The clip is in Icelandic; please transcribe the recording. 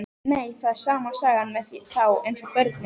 Nei, það er sama sagan með þá eins og börnin.